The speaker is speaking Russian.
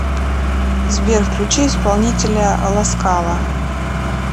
сбер включи исполнителя ласкала